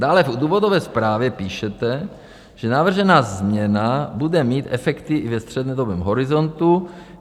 Dále v důvodové zprávě píšete, že navržená změna bude mít efekty i ve střednědobém horizontu.